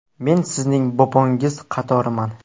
Men sizning bobongiz qatoriman.